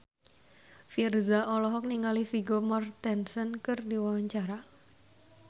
Virzha olohok ningali Vigo Mortensen keur diwawancara